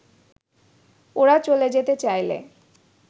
ওরা চলে যেতে চাইলে